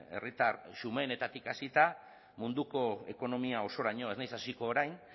herritar xumeenetatik hasita munduko ekonomia osoraino ez naiz hasiko orain